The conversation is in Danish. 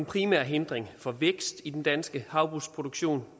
primære hindring for vækst i den danske havbrugsproduktion